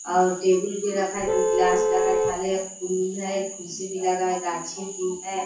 और टेबल भी रखा है दो गिलास लगा है थाली अ फूल है कुर्सी भी लगा है गाछी भी है।